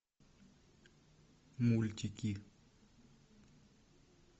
мультики